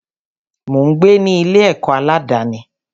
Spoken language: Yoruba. Mò ń gbé ní Ilé akẹ́kọ̀ọ́ aládàni.